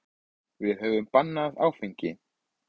Við höfum bannað áfengi.